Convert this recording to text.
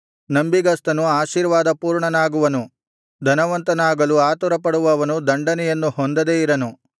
ನಂಬಿಗಸ್ತನು ಆಶೀರ್ವಾದಪೂರ್ಣನಾಗುವನು ಧನವಂತನಾಗಲು ಆತುರಪಡುವವನು ದಂಡನೆಯನ್ನು ಹೊಂದದೆ ಇರನು